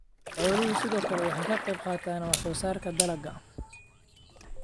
Xooluhu sidoo kale waxay ka qayb qaataan wax soo saarka dalagga.